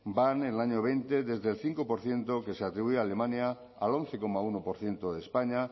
van en el año dos mil veinte desde el cinco por ciento que se atribuye a alemania al once coma uno por ciento de españa